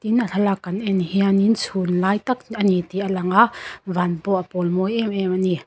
in a thlalak kan en hianin chhun lai tak ani tih a langa van pawh a pawl mawi em em ani.